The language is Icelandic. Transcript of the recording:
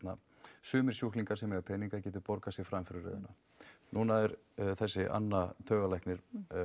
sumir sjúklingar sem eiga peninga geti borgað sig fram fyrir röðina núna er þessi Anna taugalæknir